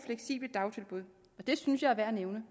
og det synes jeg er værd at nævne